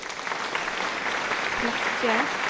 Flekke